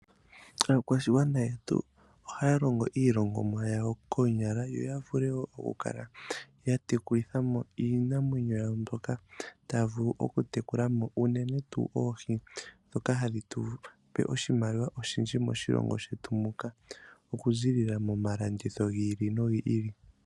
Aakwashigwana yetu ohaya longo mo iilongomwa yawo koonyala yoya vule wo oku kala ya tekulitha mo iinamwenyo yawo mbyoka taya vulu oku tekula mo unene tuu oohi ndjoka hadhi tu pe oshimaliwa oshindji moshilongo shetu muka, oku ziilila momalanditho hi ili nogi ili.